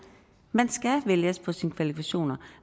man skal vælges på sine kvalifikationer